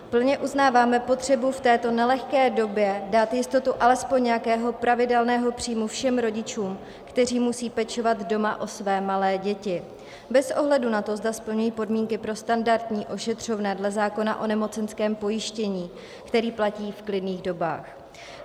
Plně uznáváme potřebu v této nelehké době dát jistotu alespoň nějakého pravidelného příjmu všem rodičům, kteří musí pečovat doma o své malé děti, bez ohledu na to, zda splňují podmínky pro standardní ošetřovné dle zákona o nemocenském pojištění, který platí v klidných dobách.